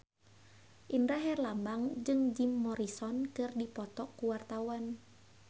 Indra Herlambang jeung Jim Morrison keur dipoto ku wartawan